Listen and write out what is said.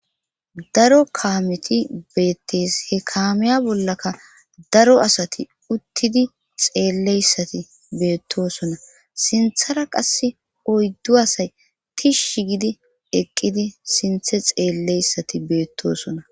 Daro kaameti beettees he kaamiya bollaka daro asati uttidi xeelleyssati beettosona sinthara qas oyddu asay tishsh gidi eqqidi sinthe xeelleyssati beettosona.